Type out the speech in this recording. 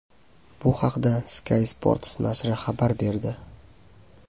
Bu haqda Sky Sports nashri xabar berdi .